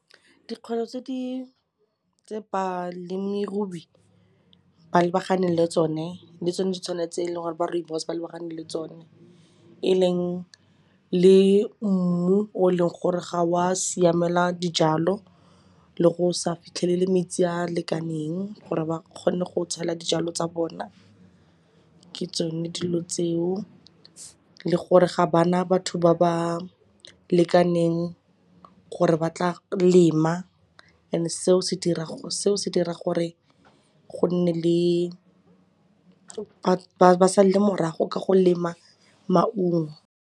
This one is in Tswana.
Dikgwetlho tse balemirui ba lebaganeng le tsone le tsone di tshwana le tse e leng gore ba rooibos ba lebagane le tsone, e leng le mmu o e leng gore ga o a siamela dijalo le go sa fitlhelele metsi a lekaneng gore ba kgone go tshwaela dijalo tsa bona, ke tsone dilo tseo. Le gore ga ba na batho ba ba lekaneng gore ba tla lema and-e seo se dira gore ba salele morago ka go lema maungo.